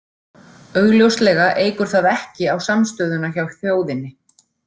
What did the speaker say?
Augljóslega eykur það ekki á samstöðuna hjá þjóðinni.